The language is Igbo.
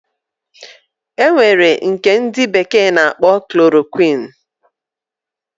Enwere nke ndi bekee na akpo chloroquine